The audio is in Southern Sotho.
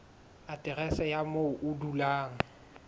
aterese ya moo o dulang